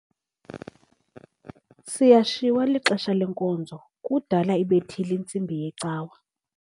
Siyashiywa lixesha lenkonzo kudala ibethile intsimbi yecawa.